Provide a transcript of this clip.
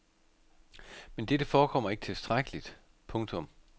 Men dette forekommer ikke tilstrækkeligt. punktum